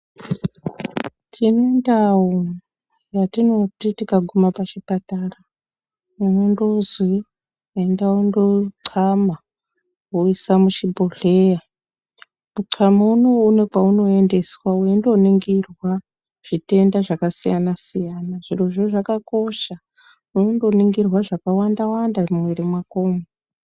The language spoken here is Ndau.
Tine ndau yatinoti tikaguma pachipatara tinondozi enda unonxama woisa muchibhohleya munxama unowu une kwaunoendeswa weindoningurwa zvitenda zvakasiyana siyana zviro zvakakosha wondoningirwa zvakawanda wanda mumwiri mwakomo.